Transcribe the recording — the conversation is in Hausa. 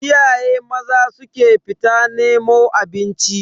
Iyaye maza su ke fita nemo abinci.